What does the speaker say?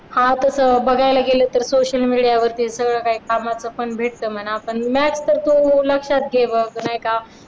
हा तसं बघायला गेलं तर सोशल मीडिया वरती सगळं काही कामाचा पण भेटत म्हणा पण maths लक्षात घे बघ नाही का